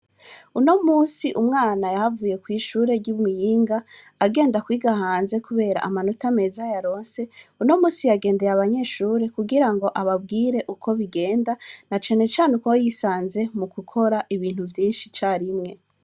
Unomusi umwana yaravuye kw'ishuri ry'imuyinga agenda kwiga hanze kubera amanota yaronse, unomusi yagendeye abanyeshure kugira ngo ababwire uko bigenda ,na cane cane cane uko yisanze mugukora ibintu vyinshi icarimwe.